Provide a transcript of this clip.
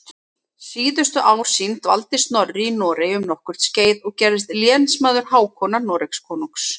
Síðustu ár sín dvaldi Snorri í Noregi um nokkurt skeið og gerðist lénsmaður Hákonar Noregskonungs.